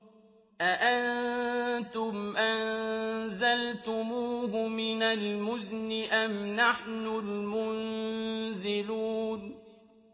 أَأَنتُمْ أَنزَلْتُمُوهُ مِنَ الْمُزْنِ أَمْ نَحْنُ الْمُنزِلُونَ